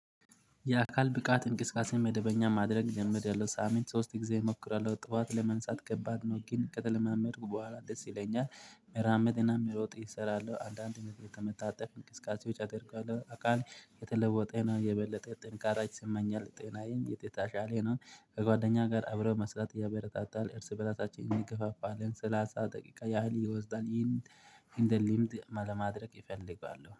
የአካል ብቃት እንቅስቃሴ መደበኛ ማድረግ ጀመሪያለሁ ሳምንት ሶስት ጊዜ እሞክራለሁ ጠዋት ለመነሳት ከባድ ነው ግን ከተለማመድኩ በኋላ ደስ ይለኛል። መራመድና መሮጥ እሰራለሁ አንዳንድ ነገር መታጠፍ እንቅስቃሴዎች አድርገዋለሁ። አካል የተለወጠ የበለጠ ጥንካሬ ስመኛል ጤናዬን የተሻሻለ ነው። ከጓደኛየ ጋር አብሮ መስራት ያበረታታል እርስ በራሳቺን እደጋገፋለን ለን ሰላሳ ደቂቃ ያህል እየወሰድን ይሄንን። አንዴ ልምድ ለማድረግ እፈልጋለሁ